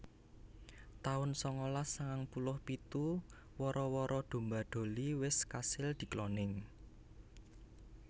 taun sangalas sangang puluh pitu Wara wara domba Dolly wis kasil dikloning